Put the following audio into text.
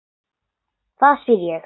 Þá spyr ég.